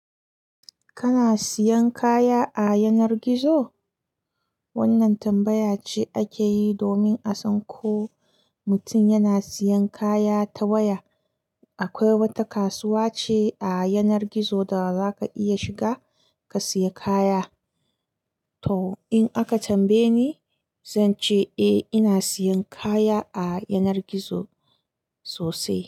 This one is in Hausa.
Kana siyan kaya a yanar gizo? Wannan tambaya ce ake yi domin a san ko mutum yana siyan kaya ta waya. Akwai wata kasuwa ce a yanar gizo da zaka iya shiga ka siya kaya. To in aka tambaye ni, zan ce eh ina siyan kaya a yanar gizo sosai.